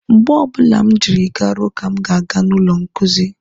Mgbe ọbụla m jiri garuo ka m ga-aba n'ụlọ nkuzi.